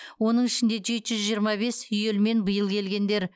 оның ішінде жеті жүз жиырма бес үйелмен биыл келгендер